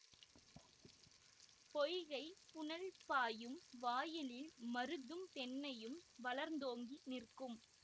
பொய்கைப் புனல் பாயும் வாயிலில் மருதும் தென்னையும் வளர்ந்தோங்கி நிற்கும்